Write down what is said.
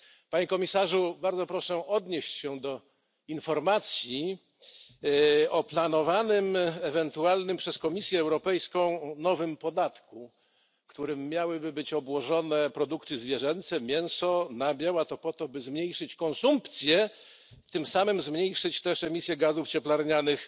Panie Komisarzu, bardzo proszę odnieść się do informacji o planowanym przez Komisję Europejską nowym podatku, którym miałyby być obłożone produkty zwierzęce mięso i nabiał. Miałoby to zmniejszyć konsumpcję, a tym samym zmniejszyć emisje gazów cieplarnianych.